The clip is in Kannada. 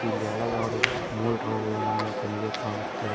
ಇಲ್ಲಿ ಹಲವಾರು ಮೋಟರ್ ಗಳು ನಮ್ಮ ಕಣ್ಣಿಗೆ ಕಾಣುತ್ತವೆ.